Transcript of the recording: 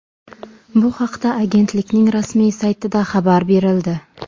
Bu haqda agentlikning rasmiy saytida xabar berildi .